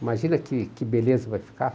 Imagina que que beleza vai ficar.